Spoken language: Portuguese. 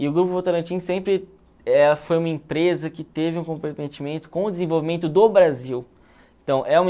E o Grupo Votorantim sempre eh foi uma empresa que teve um comprometimento com o desenvolvimento do Brasil. Então